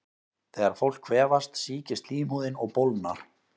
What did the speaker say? Þegar fólk kvefast sýkist slímhúðin og bólgnar.